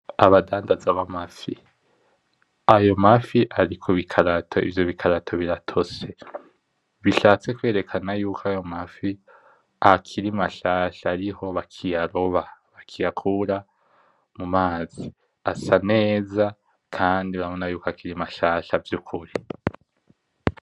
Abadandaza b'amafi. Ayo mafi ari kubikarato ivyo bikarato biratose. Bishatse kwerekana yuko ayo mafi akiri mashasha ariho bakiyaroba, bakiyakura mu mazi. Asa neza kandi urabona ko akiri mashasha vy'ukuri.